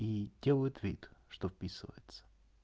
и делают вид что вписывается